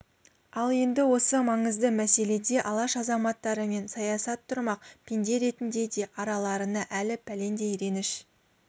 ал енді осы маңызды мәселеде алаш азаматтарымен саясат тұрмақ пенде ретінде де араларына әлі пәлендей реніш